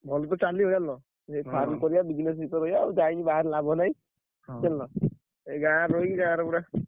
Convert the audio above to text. ଭଲ ତ ଚାଲିବ ଜାଣିଲ ଏଇ farm କରିଆ business ବି କରିଆ ଯାଇକି ବାହାରେ ଲାଭ ନାହିଁ।